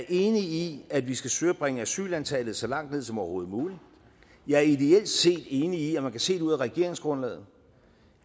enig i at vi skal søge at bringe asylantallet så langt ned som overhovedet muligt jeg er ideelt set enig i og man kan se det ud af regeringsgrundlaget